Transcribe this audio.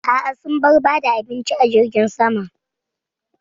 A'a, sun bar ba da abinci a jirgin saman.